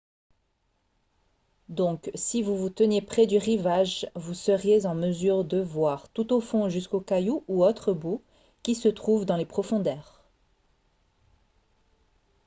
donc si vous vous teniez près du rivage vous seriez en mesure de voir tout au fond jusqu'aux cailloux ou autres boues qui se trouvent dans les profondeurs